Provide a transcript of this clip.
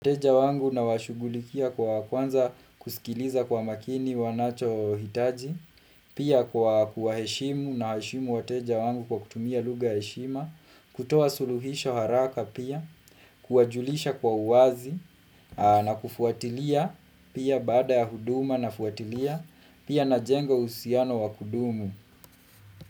Wateja wangu nawashugulikia kwa kwanza kusikiliza kwa makini wanacho hitaji, pia kwa kuwaheshimu naheshimu wateja wangu kwa kutumia luga heshima, kutoa suluhisha haraka pia, kuajulisha kwa uwazi, na kufuatilia pia bada ya huduma nafuatilia pia najenga usiano wa kudumu.